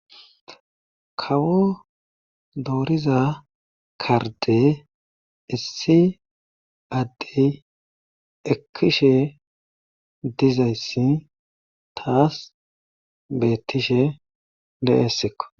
kawo dooriza karde issi addey ekkishe dizayssi taas beettishe de7essekko